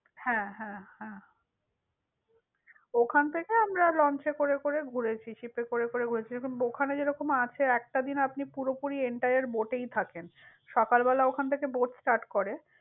হ্যাঁ, হ্যাঁ হ্যাঁ। ওখান থেকে আমরা launch এ করে করে ঘুরেছি। ship করে করে ঘুরেছি। ওখানে যেরকম আছে একটা দিন আপনি পুরোপুরি entire boat এই থাকেন। সকাল বেলা ওখান থেকে boatstart করে।